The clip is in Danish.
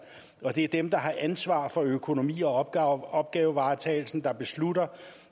og det er dem der har ansvar for økonomien og opgavevaretagelsen der beslutter